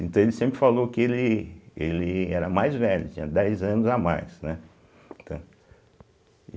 Então, ele sempre falou que ele ele era mais velho, tinha dez anos a mais, né.